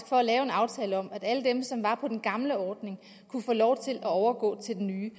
for at lave en aftale om at alle dem som var på den gamle ordning kunne få lov til at overgå til den nye